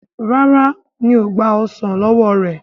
ràrá mi'o gba ọsán ló wọ rẹ.